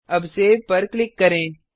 अब सेव पर क्लिक करें